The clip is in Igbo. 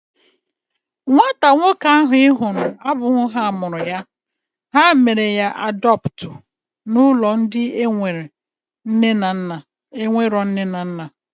Nwata nwoke ahu ị hụrụ abụghị ha mụrụ ya. Ha mere ya adọptu n'ụlọ ndị enwero nne na nna